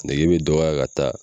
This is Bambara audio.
Nege bɛ dɔgɔya ka taa.